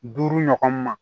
Duuru ɲɔgɔn ma